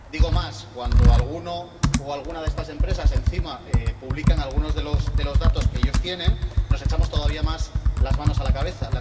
Digo más cuando alguna de estas empresas encima publica algunos de los datos que ellos tienen, nos echamos todavía más las manos a la cabeza.